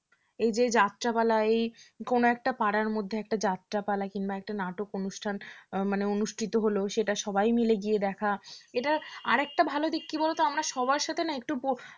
এই যে এই যাত্রাপালা এই কোন একটা পাড়ার মধ্যে একটা যাত্রা পালা কিংবা একটা নাটক অনুষ্ঠান মানে অনুষ্ঠিত হলো সেটা সবাই মিলে গিয়ে দেখা এটা আরেকটা ভালো দিক কি বলতো আমরা সবার সাথে না একটু বসে